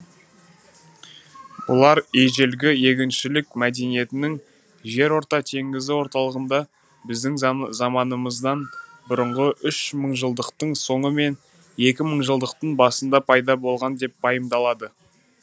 бұлар ежелгі егіншілік мәдениетінің жерорта теңізі орталығында біздің заманымыздан бұрынғы үш мыңжылдықтың соңы мен екі мыңжылдықтың басында пайда болған деп пайымдалады